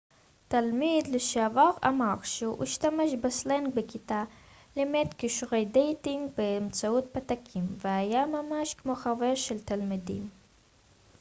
תלמיד לשעבר אמר שהוא השתמש בסלנג בכיתה לימד כישורי דייטינג באמצעות פתקים והיה ממש כמו חבר של התלמידים